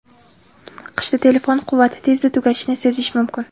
Qishda telefon quvvati tezda tugashini sezish mumkin.